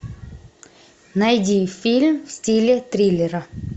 найди фильм в стиле триллера